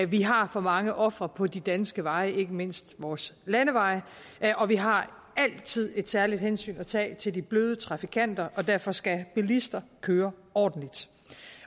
vi har for mange ofre på de danske veje ikke mindst vores landeveje og vi har altid et særligt hensyn at tage til de bløde trafikanter derfor skal bilister køre ordentligt